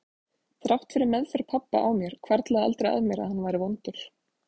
Þrátt fyrir meðferð pabba á mér hvarflaði aldrei að mér að hann væri vondur.